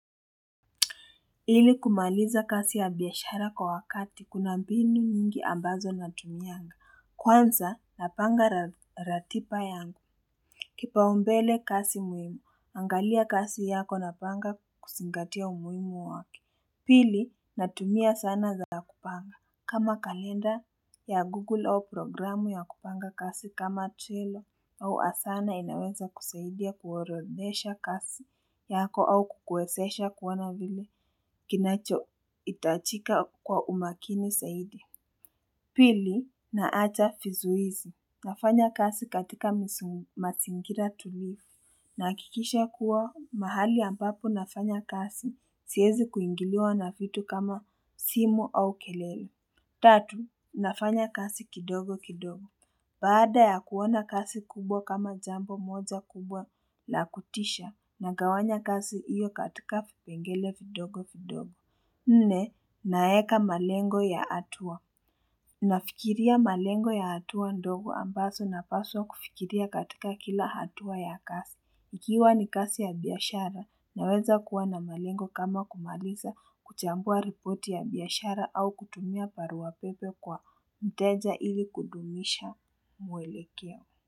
Ili kumaliza kazi ya biashara kwa wakati kuna mbinu mingi ambazo natumianga kwanza napanga ratiba yangu kipaumbele kasi muhimu angalia kasi yako na panga kusingatia umuhimu wake pili natumia sana za kupanga kama kalenda ya google au programu ya kupanga kasi kama trailer au asana inaweza kusaidia kuorodhesha kasi yako au kukuwesesha kuona vile Kinachoitajika kwa umakini saidi. Pili, naacha fizuizi. Nafanya kasi katika masingira tulivu. Nahakikisha kuwa mahali ambapo nafanya kasi. Siezi kuingiliwa na vitu kama simu au kelele. Tatu, nafanya kasi kidogo kidogo. Baada ya kuona kasi kubwa kama jambo moja kubwa la kutisha. Nagawanya kasi iyo katika vipengele vidogo kidogo. Nne naeka malengo ya hatua, nafikiria malengo ya hatua ndogo ambaso napaswa kufikiria katika kila hatua ya kasi, ikiwa ni kasi ya biashara naweza kuwa na malengo kama kumaliza kuchambua ripoti ya biashara au kutumia baruapepe kwa mteja ili kudumisha mwelekeo.